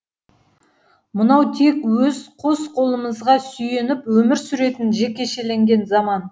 мынау тек өз қос қолымызға сүйеніп өмір сүретін жекешеленген заман